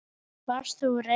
Varst þú reiður?